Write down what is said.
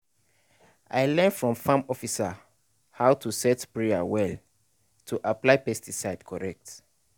i learn from farm officer how to set sprayer well to apply pesticide correct.